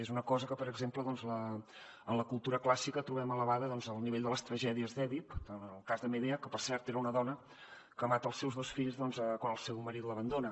és una cosa que per exemple en la cultura clàssica trobem elevada al nivell de les tragèdies d’èdip en el cas de medea que per cert era una dona que mata els seus dos fills quan el seu marit l’abandona